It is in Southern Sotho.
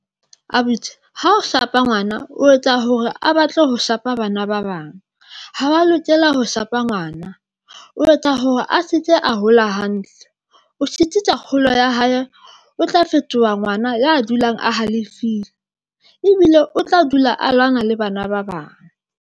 Abuti ha o shapa ngwana, o etsa hore a batle ho shapa bana ba bang, ha wa lokela ho shapa ngwana o etsa hore a se ke a hola hantle, o sitisa kgolo ya hae, o tla fetoha ngwana ya dulang a halefile ebile o tla dula a lwana le bana bang.